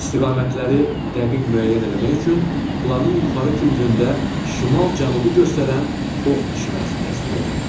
İstiqamətləri dəqiq müəyyən eləmək üçün planın yuxarı küncündə şimal-cənubu göstərən ox işarəsi təsvir olunur.